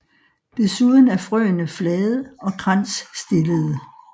Desuden er frøene flade og kransstillede